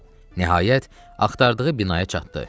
Nəhayət, axtardığı binaya çatdı.